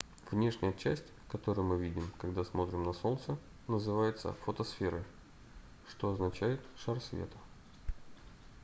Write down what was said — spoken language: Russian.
внешняя часть которую мы видим когда смотрим на солнце называется фотосферой что означает шар света